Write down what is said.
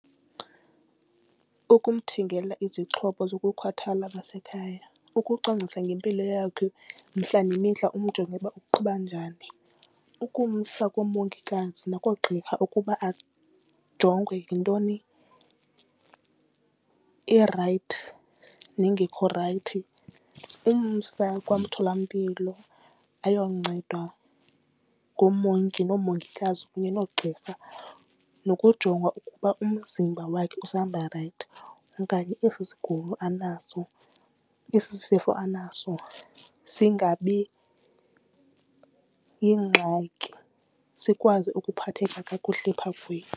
Ukumthengela izixhobo zokukhathala zasekhaya, ukucwangcisa ngempilo yakho mihla nemihla umjonge ukuba uqhuba njani. Ukumsa koomongikazi nakoogqirha ukuba ajongwe yintoni erayithi nengekho rayithi. Umsa kwamtholampilo ayoncedwa ngoomongi noomongikazi kunye noogqirha nokujongwa ukuba umzimba wakhe usahamba rayithi okanye esi sigulo anaso esi sifo anaso singabi yingxaki, sikwazi ukuphatheka kakuhle phaa kuye.